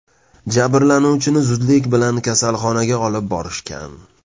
Jabrlanuvchini zudlik bilan kasalxonaga olib borishgan.